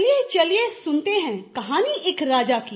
चलिए चलिए सुनते हैं कहानी एक राजा की